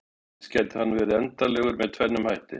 Eins gæti hann verið endanlegur með tvennum hætti.